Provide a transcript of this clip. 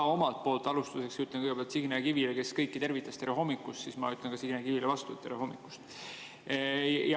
Ma omalt poolt alustuseks ütlen kõigepealt Signe Kivile, kes kõiki tervitas, öeldes tere hommikust, vastu tere hommikust.